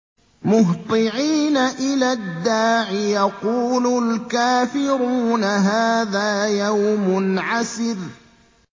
مُّهْطِعِينَ إِلَى الدَّاعِ ۖ يَقُولُ الْكَافِرُونَ هَٰذَا يَوْمٌ عَسِرٌ